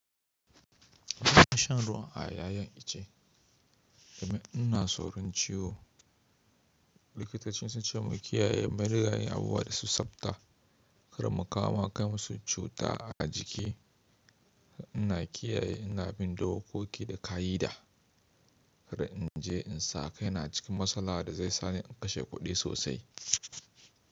Ina shan ruwa a yayin ice domin ina tsoron ciwo. Likitocin sun ce mu kiyaye madigayi abuwa da su tsabta, kuma kama kai masu cuta a jiki. Ina kiyaye, ina bin dokoki da ka'ida. Kada in je in sa kaina cikin matsala da zai sa ni in kashe kuɗi sosai.